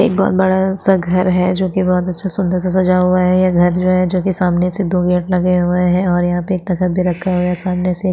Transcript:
एक बहोत बड़ा सा घर है जो की बहोत अच्छा सुन्दर सजा हुआ है ये घर जो है जो की सामने से दो गेट लगे हुए है और यहाँ पे एक तखत भी रखा हुआ है सामने से--